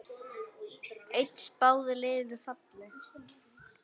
Einn spáði liðinu falli.